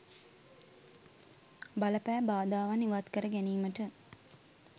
බල පෑ බාධාවන් ඉවත් කර ගැනීමට